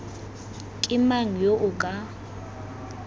ke mang yo o ka